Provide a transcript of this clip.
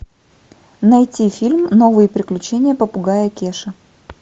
найти фильм новые приключения попугая кеши